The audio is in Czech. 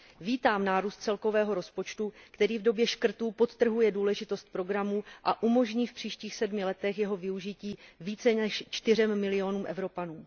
Vítám nárůst celkového rozpočtu, který v době škrtů podtrhuje důležitost programu a umožní v příštích sedmi letech jeho využití více než čtyřem milionům Evropanů.